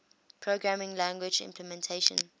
programming language implementation